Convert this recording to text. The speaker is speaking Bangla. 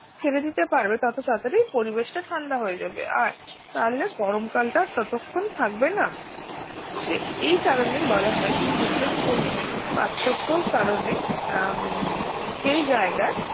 ছেড়ে দিতে পারবে তত তাড়াতাড়ি পরিবেশটা ঠান্ডা যাবে আর তাহলে গরম কালটা ততক্ষণ থাকবে না সে এই কারণে বলা হয় যে সূর্যের কোনে পার্থক্য কারণে উম সেই জায়গায়